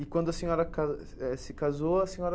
E quando a senhora ca eh se casou, a senhora...